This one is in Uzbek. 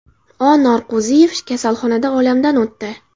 O. Norqo‘ziyev kasalxonada olamdan o‘tdi.